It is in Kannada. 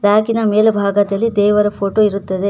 ಗಾಜಿನ ಮೇಲ್ಭಾಗದಲ್ಲಿ ದೇವರ ಫೋಟೋ ಇರುತ್ತದೆ.